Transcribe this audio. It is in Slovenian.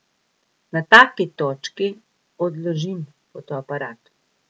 Na taki točki odložim fotoaparat.